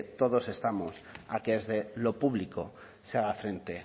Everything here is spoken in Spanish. todos estamos a que desde lo público se haga frente